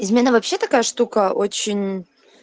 измена вообще такая штука очень